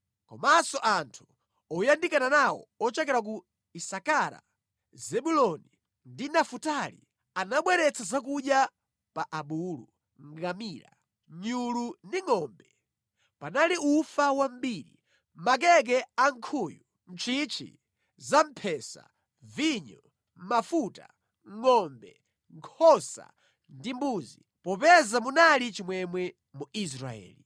Komanso anthu oyandikana nawo ochokera ku Isakara, Zebuloni ndi Nafutali anabweretsa zakudya pa abulu, ngamira, nyulu ndi ngʼombe. Panali ufa wambiri, makeke ankhuyu, ntchintchi za mphesa, vinyo, mafuta, ngʼombe, nkhosa ndi mbuzi, popeza munali chimwemwe mu Israeli.